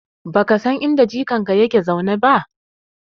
Baka san inda jikanka yake zaune ba?